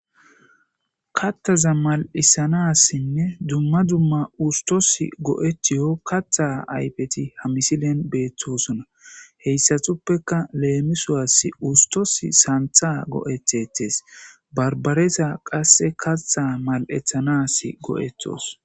Kattaza mal7isanassinne dumma dumma ustos go7etiyo katha aypeti ha misilen beettosona heyssatuppeka leemisuwas ustos santha go7ethetees barbaresa qasse kattha mal7ethanas go7etos